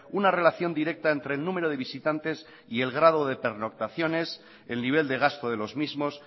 una relación directa entre el número de visitantes y el grado de pernoctaciones el nivel de gasto de los mismos